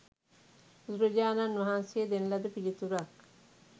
බුදුරජාණන් වහන්සේ දෙන ලද පිළිතුරක්